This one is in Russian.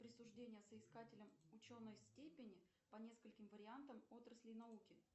присуждение соискателям ученой степени по нескольким вариантам отраслей науки